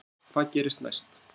jæja hvað gerist næst